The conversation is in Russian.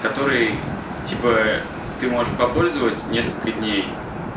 который типа ты можешь попользовать несколько дней